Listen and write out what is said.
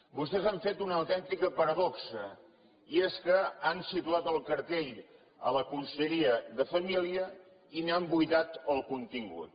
vostès han fet una autèntica paradoxa i és que han situat el cartell a la conselleria de família i n’han buidat el contingut